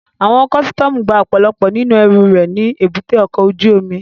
Àwọn kọ́sítọ́mù gba ọ̀pọ̀lọpọ̀ nínú ẹrù rẹ̀ ní èbúté ọkọ̀ ojú omi